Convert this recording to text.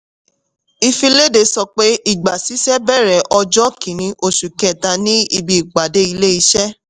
ìfìléde sọpé ìgbàsísẹ́ bẹ̀rẹ̀ ọjọ́ kìnní oṣù kẹta ní ibi ìpàdé ilé-iṣẹ́.